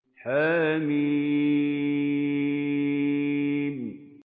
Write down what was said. حم